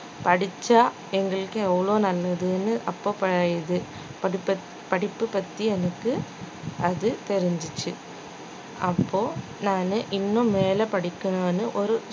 படிச்சா எங்களுக்கு எவ்ளோ நல்லதுன்னு அப்போ ப~ இது படிப்ப படிப்பு பத்தி எனக்கு அது தெரிஞ்சிச்சு அப்போ நானு இன்னும் மேல படிக்கணும்னு ஒரு